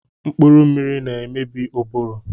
Mkpụrụ mmiri na-emebi ụbụrụ